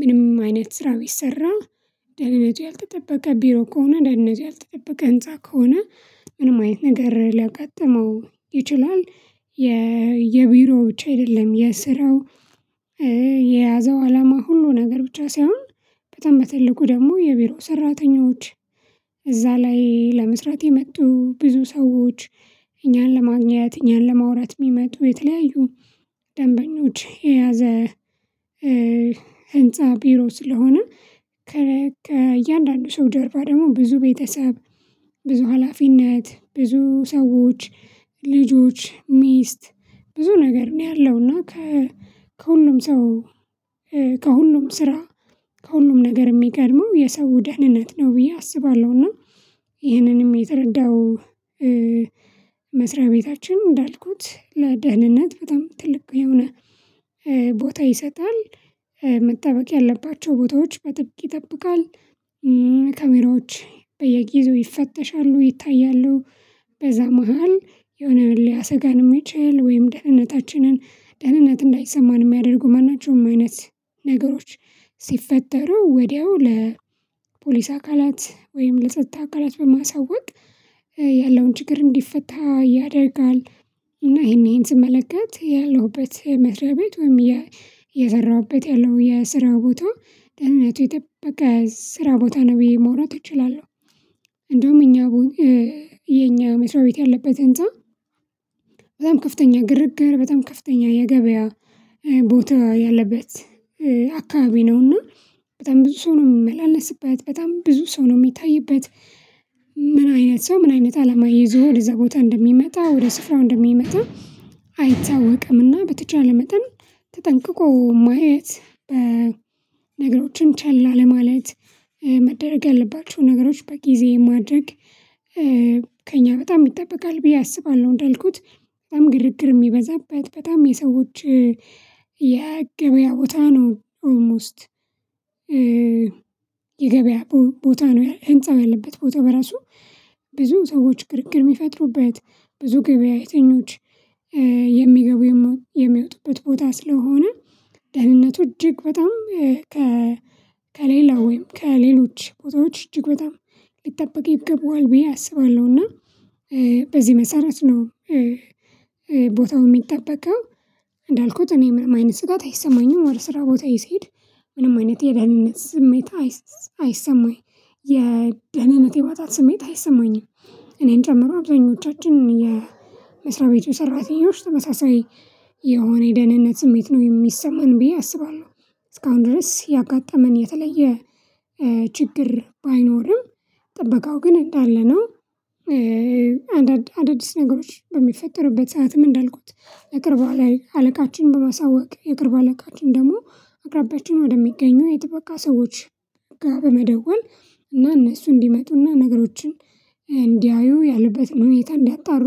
ምንም አይነት ስራ ቢሰራ ደህንነት ያልተጠበቀ ቢሮ ከሆነ ደህንነት ያልተጠበቀ ህንፃ ከሆነ ምንም አይነት ነገር ሊያጋጥመው ይችላል የቢሮዎች አይደለም የስራው የያዘው አላማ ሁሉ ነገር ብቻ ሳይሆን በጣም በትልቁ ደግሞ የቢሮ ሰራተኞች እዛ ላይ ለመስራት የመጡ ብዙ ሰዎች እኛን ለማግኘት እኛን ለማውራት የሚመጡ የተለያዩ ደንበኞችን የያዘ ህንፃ ቢሮ ስለሆነ ከእያንዳንዱ ሰው ጀርባ ደግሞ ብዙ ቤተሰብ ብዙ ሀላፊነት ብዙ ሰዎች ልጆች ሚስት ብዙ ነገር ነው ያለው እና ከሁሉም ሰው ከሁሉም ስራ ከሁሉም ነገር የሚገርመው የሰው ደህንነት ነው ብዬ አስባለሁና ይህንንም የተረዳው መስሪያ ቤታችን እንዳልኩት ለደህንነት በጣም ትልቅ የሆነ ቦታ ይሰጣል መጠበቅ ያለባቸው ቦታዎች በጥብቅ ይጠብቃል ካሜራዎች በየጊዜው ይፈተሻሉ ይታያሉ በዛ መሃል የሆነ ሊያሰጋን የሚችል ወይም ደህንነታችንን ደህንነት እንዳይሰማን የሚያደርጉ ማንቸውም አይነት ነገሮች ሲፈጠሩ ወዲያው ለፖሊስ አካላት ወይም ለጸጥታ አካላት በማሳወቅ ያለውን ችግር እንዲፈታ ያደርጋል። እና ይሄን ይሄን ስመለከት ያለሁበት መስሪያ ቤት ወይም እየሰራሁበት ያለው የስራ ቦታ ደህንነቱ የጠበቀ ስራ ቦታ ነው ብዬ ማውራት እችላለሁ እንደውም እኛ የኛ መስሪያ ቤት ያለበት ህንፃ በጣም ከፍተኛ ግርግር፤ በጣም ከፍተኛ የገበያ ቦታ ያለበት አካባቢ ነው እና በጣም ብዙ ሰው ነው የምመላለስበት በጣም ብዙ ሰው ነው የሚታይበት ምን አይነት ሰው ምን አይነት አላማ ይዞ ወደዛው ቦታ እንደሚመጣ ወደ ስፍራው እንደሚመጣ አይታወቅምና በተቻለ መጠን ተጠንቅቆ ማየት በነገሮችን ቸላ ለማለት መደረግ ያለባቸው ነገሮች በጊዜ ማድረግ በጣም ይጠበቃል ብዬ አስባለሁ እንዳልኩት በጣም ግርግር የሚበዛበት በጣም የሰዎች የገበያ ቦታ ነው ኦልሞስት የገበያ ቦታ ነው ህንፃው ያለበት ቦታ በራሱ ብዙ ሰዎች ግርግር የሚፈጥሩበት ብዙ ገበያ ግብያተኞች የሚገቡ የሚወጡበት ቦታ ስለሆነ ደህንነቱ እጅግ በጣም ከሌላ ወይም ከሌሎች ቦታዎች እጅግ በጣም ሊጠበቅ ይገባዋል ብዬ አስባለሁ። እና በዚህ መሰረት ነው ቦታው የሚጠበቀው እንዳልኩት እኔ ምን አይነት ስጋት አይሰማኝም ወደ ስራ ቦታዬ ስሄድ ምንም አይነት የደህንነት ስሜት አይሰማኝ የደህንነት የማጣት ስሜት አይሰማኝም እኔን ጨምሮ አብዛኞቻችን የመስሪያ ቤቱ ሰራተኞች ተመሳሳይ የሆነ የደህንነት ስሜት ነው የሚሰማን ብዬ አስባለሁ። እስካሁን ድረስ ያጋጠመን የተለየ ችግር ባይኖርም ጥበቃው ግን እንዳለ ነው አዳዲስ ነገሮች በሚፈጠርበት ሰዓትም እንዳልኩት የቅርብ አለቃችንን በማሳወቅ የቅርብ አለቃችን ደግሞ አቅራቢያችን ወደሚገኘው የጥበቃ ሰዎች ጋር በመደወል እና እነሱ እንዲመጡና ነገሮችን እንዲያዩ ያለበትን ሁኔታ እንዲያጣሩ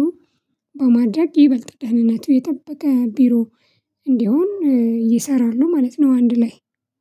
በማድረግ ይበልጥ ደህንነቱ የጠበቀ ቢሮ እንዲሆን ይሰራሉ ማለት ነው አንድ ላይ።